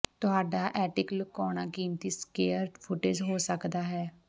ਤੁਹਾਡਾ ਐਟੀਿਕ ਲੁਕਾਉਣਾ ਕੀਮਤੀ ਸਕੇਅਰ ਫੁਟੇਜ ਹੋ ਸਕਦਾ ਹੈ